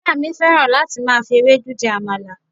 ìyá mi fẹràn láti ma fi Ewédú jẹ àmàlà